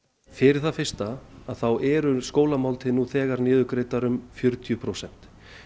fyrir það fyrsta þá eru skólamáltíðir nú þegar niðurgreiddar um fjörutíu prósent